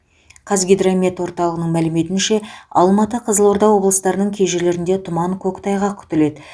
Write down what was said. қазгидромет орталығының мәліметінше алматы қызылорда облыстарының кей жерлерінде тұман көктайғақ күтіледі